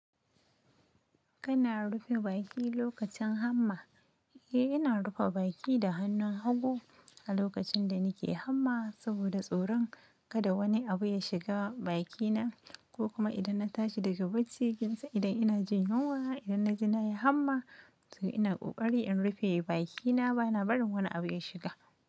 Kana rufe baki lokacin hamma. Eh, ina rufe baki da hannun hagu a lokacin da nake hamma saboda tsoron kada wani abu ya shiga bakina ko kuma idan na tashi daga bacci, idan ina jin nawa, idan na ji na yi hamma, to ina ƙoƙari in rufe bakina bana barin wani abu ya shiga.